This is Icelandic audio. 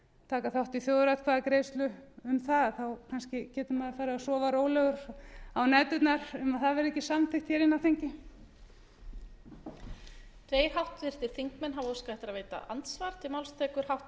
taka þátt í þjóðaratkvæðagreiðslu um það þá kannski getur maður farið að sofa rólegur á næturnar um að það verði ekki samþykkt hér inni á þingi